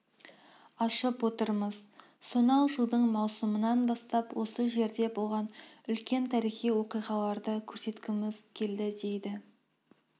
ашып отырмыз сонау жылдың маусымынан бастап осы жерде болған үлкен тарихи оқиғаларды көрсеткіміз келді дейді